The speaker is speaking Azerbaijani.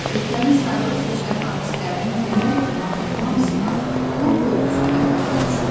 Ölkənin sayılıb-seçilən artistlərinin demək olar ki, hamısına rol bölgüsündə pay düşmüşdü.